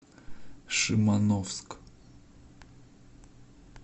шимановск